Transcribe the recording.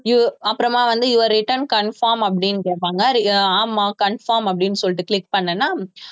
you அப்புறமா வந்து your return confirm அப்படின்னு கேப்பாங்க அஹ் ஆமா confirm அப்படின்னு சொல்லிட்டு click பண்ணேன்னா